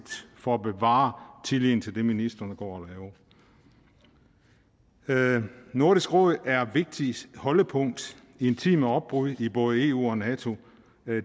for at bevare tilliden til det ministrene går og laver nordisk råd er vigtigt holdepunkt i en tid med opbrud i både eu og nato